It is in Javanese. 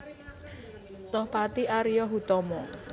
Tohpati Ario Hutomo